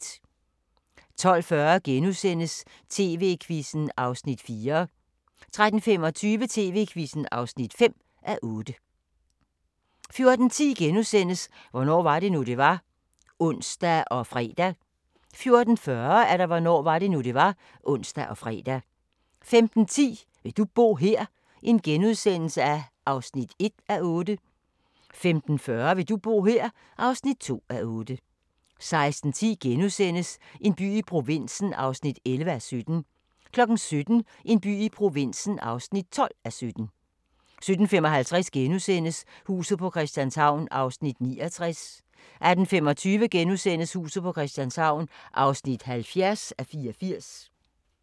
12:40: TV-Quizzen (Afs. 4)* 13:25: TV-Quizzen (5:8) 14:10: Hvornår var det nu, det var? *(ons og fre) 14:40: Hvornår var det nu, det var? (ons og fre) 15:10: Vil du bo her? (1:8)* 15:40: Vil du bo her? (2:8) 16:10: En by i provinsen (11:17)* 17:00: En by i provinsen (12:17) 17:55: Huset på Christianshavn (69:84)* 18:25: Huset på Christianshavn (70:84)*